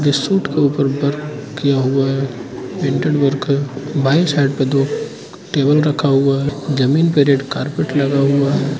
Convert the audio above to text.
इस सूट के ऊपर वर्क किया हुआ है प्रिंटेड वर्क है बाई साइड पे दो टेबल रखा हुआ है जमीन पे रेड कारपेट लगा हुआ है।